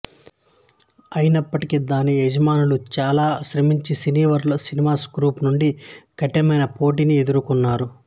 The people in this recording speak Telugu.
అయినప్పటికీ దాని యజమానులు చాలా శ్రమించి సినీవర్ల్డ్ సినిమాస్ గ్రూప్ నుండి కఠినమైన పోటీని ఎదుర్కొన్నారు